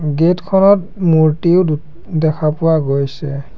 Gate খনত মূৰ্ত্তিও দো দেখা পোৱা গৈছে।